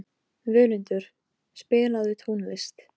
Andlit hans stífnar þegar hún segir þetta.